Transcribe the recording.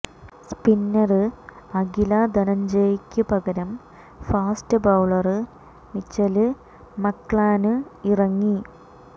spinner Akila ധനഞ്ജയക്ക് പകരം fast bowler Mitchell McClenaghan ഇറങ്ങി